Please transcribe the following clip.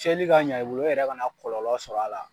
cɛli ka ɲɛ i bolo i yɛrɛ kana kɔlɔlɔ sɔrɔ a la.